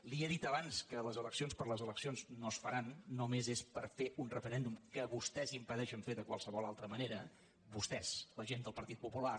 li he dit abans que les eleccions per les eleccions no es faran només és per fer un referèn·dum que vostès impedeixen fer de qualsevol altra mane·ra vostès la gent del partit popular